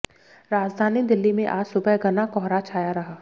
राजधानी दिल्ली में आज सुबह घना कोहरा छाया रहा